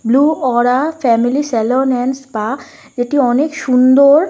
Blue aura family salon and spa এটি অনেক সুন্দর ।